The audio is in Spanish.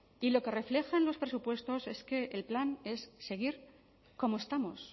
y lo que reflejan los presupuestos es que el plan es seguir como estamos